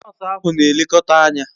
Nosu ahu n'elekota Anya